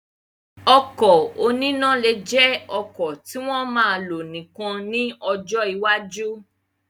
Ọkọ̀ oníná lè jẹ ọkọ̀ tí wọ́n ma lò nìkan ní ọjọ́ iwájú